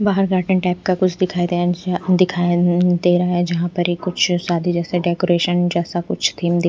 बाहर garden type का कुछ दिखाई दिखाई देना है जहां पर ही कुछ शादी जैसे डेकोरेशन जैसा कुछ भी--